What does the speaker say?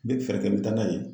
N bɛ fɛɛrɛ kɛ n bɛ taa n'a ye